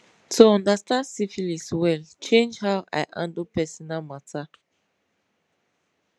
to understand syphilis well change how i handle personal matter